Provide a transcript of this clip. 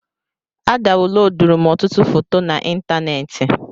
A dawuloduru m ọtụtụ foto na ịntanetị